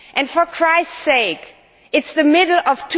For Christ's sake, it is the middle of